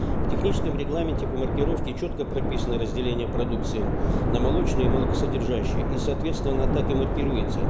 в техническом регламенте по маркировке четко прописаны разделение продукции на молочные и молокосодержащие и соответственно она так и маркируется